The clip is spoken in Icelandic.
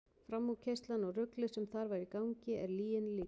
Framúrkeyrslan og ruglið sem þar var í gangi er lyginni líkast.